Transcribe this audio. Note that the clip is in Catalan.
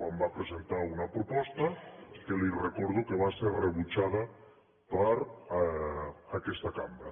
quan va presentar una proposta que li recordo que va ser rebutjada per aquesta cambra